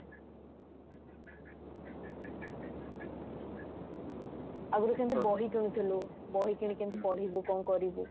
ଆଗରୁ କେମିତି ବହି କିଣୁଥିଲୁ ବହି କିଣିକି କେମିତି ପଢିବୁ କଣ କରିବୁ